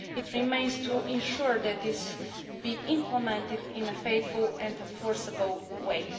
It remains to ensure that this is implemented in a faithful and enforceable way.